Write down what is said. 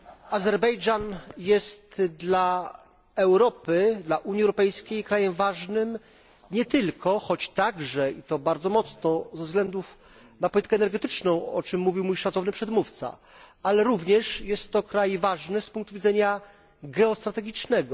Azerbejdżan jest dla Europy, dla Unii Europejskiej, krajem ważnym nie tylko choć także i to bardzo mocno ze względu na politykę energetyczną, o czym mówił mój szacowny przedmówca, ale również jest to kraj ważny z punktu widzenia geostrategicznego.